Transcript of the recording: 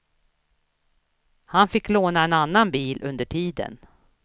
Han fick låna en annan bil under tiden.